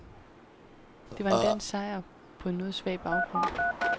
Det var en dansk sejr på en noget svag baggrund.